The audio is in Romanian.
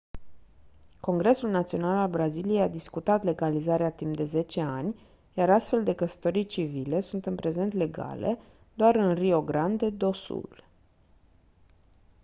congresul național al braziliei a discutat legalizarea timp de 10 ani iar astfel de căsătorii civile sunt în prezent legale doar în rio grande do sul